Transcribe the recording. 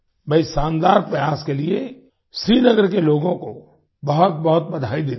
मैं इस शानदार प्रयास के लिए श्रीनगर के लोगों को बहुतबहुत बधाई देता हूँ